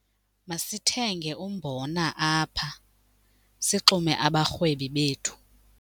Masithenge umbona apha sixume abarhwebi bethu.